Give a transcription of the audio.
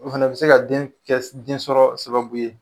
O fɛnɛ be se ka den kɛ den sɔrɔ sababu ye